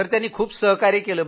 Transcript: त्यांनी पूर्ण सहकार्य केलं